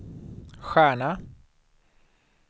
stjärna